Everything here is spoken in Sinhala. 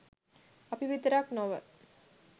අපි විතරක් නොව